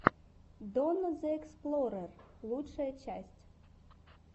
донна зе эксплорер лучшая часть